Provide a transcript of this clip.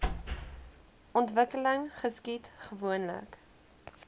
ontwikkeling geskied gewoonlik